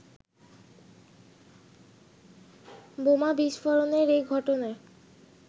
বোমা বিস্ফোরণের এই ঘটনায়